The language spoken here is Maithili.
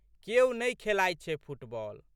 केओ नहि खेलाइत छै फुटबाल।